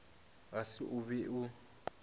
ga se o be o